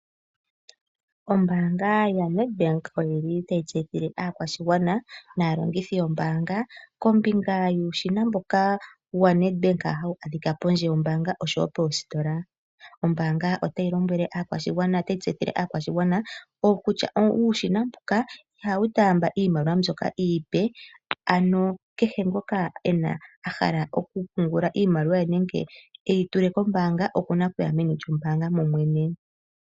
Ombaanga yaNedbank otayi tseyithile aakwashigwana naalongithi yombaanga kombinga yuushina waNedbank mboka hawu adhika pondje noshowo moositola. Ombaanga otayi tseyithile aakwashigwana kutya uushina mbuka ihawu taamba iimaliwa mbyoka iipe. Ngoka a hala okupungula iimaliwa ye iipe nenge e yi tule kombaanga oku na okuya meni lyombaanga momwene.